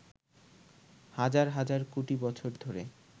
হাজার হাজার কোটি বছর ধরে